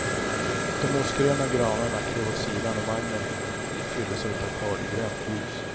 De mossgröna granarna klev åt sidan och vagnen fylldes av ett akvariegrönt ljus.